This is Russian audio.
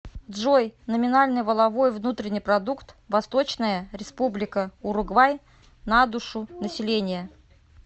джой номинальный валовой внутренний продукт восточная республика уругвай на душу населения